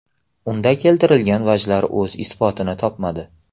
Unda keltirilgan vajlar o‘z isbotini topmadi.